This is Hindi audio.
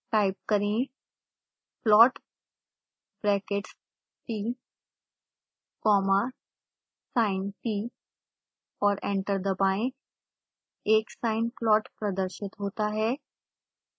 टाइप करें plot brackets t comma sint और एंटर दबाएं एक साइन प्लॉट प्रदर्शित होता है